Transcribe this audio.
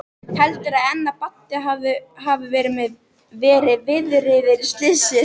Heldurðu enn að Baddi hafi verið viðriðinn slysið?